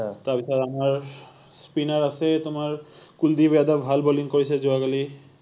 তাৰপিছত আমাৰ spinner আছে তোমাৰ কুলদীপ য়াদব, ভাল বলিং কৰিছে যোৱা কালি৷